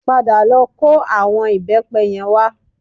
Padà lọ kó àwọn ìbẹ́pẹ yẹn wá